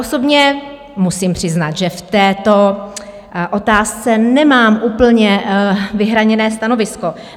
Osobně musím přiznat, že v této otázce nemám úplně vyhraněné stanovisko.